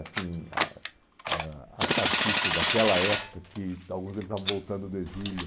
assim ah ãh ah ah artistas daquela época, que alguns deles estavam voltando do exílio.